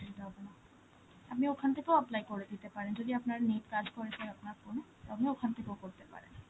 অসুবিধা হবে না. আপনি ওখান থেকে apply করে দিতে পারেন, যদি আপনার net কাজ করে sir আপনার phone এ, তো আপনি ওখান থেকেও করতে পারেন.